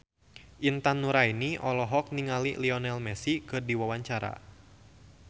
Intan Nuraini olohok ningali Lionel Messi keur diwawancara